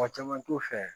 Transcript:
Mɔgɔ caman t'u fɛ